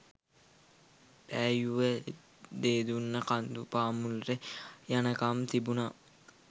පෑයුව දේදුන්න කඳු පාමුලට යනකම් තිබුනා